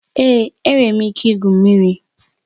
Èé, enwere m ike igwu mmiri